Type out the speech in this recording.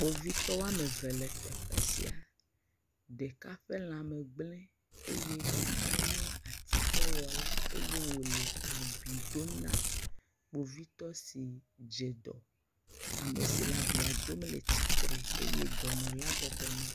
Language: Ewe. Kpovitɔ woame eve le teƒe sia, ɖeka ƒe lã me gble eye ɖeka nye atikewɔla eye wo abi dom na kpovitɔ si dze ɖɔ. Ame si le abia dom le tsitre eye ɖɔnɔla bɔbɔ nɔ.